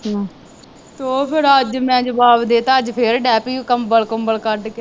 ਅਤੇ ਉਹ ਫੇਰ ਅੱਜ ਮੈਂ ਜਵਾਬ ਦੇ ਦਿੱਤਾ, ਅੱਜ ਫੇਰ ਡੇ ਪਈ, ਉਹ ਕੰਬਲ ਕੁੰਬਲ ਕੱਢ ਕੇ,